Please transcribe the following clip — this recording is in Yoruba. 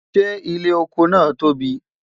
ṣé ilé ọkọ nà tóbi?